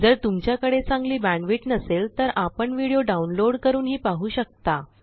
जर तुमच्याकडे चांगली बॅण्डविड्थ नसेल तर आपण व्हिडिओ डाउनलोड करूनही पाहू शकता